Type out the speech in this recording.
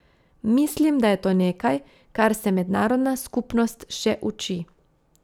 Mislim, da je to nekaj, kar se mednarodna skupnost še uči.